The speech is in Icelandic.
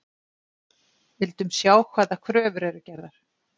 Vildum sjá hvaða kröfur eru gerðar